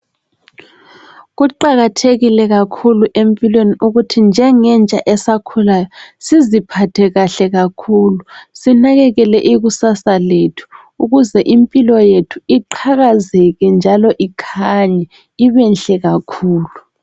Kuqakathekile kakhulu empilweni ukuthi njengentsha esakhulayo siziphathe kahle kakhulu. Sinakekele ikusasa lethu ukuze impilo yethu iqhakazeke njalo ikhanye, ibenhle kakhulu .